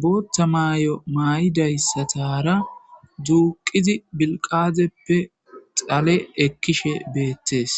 bootta maayo mayidaysatara duqid bilgaxeppe xale ekishe betes.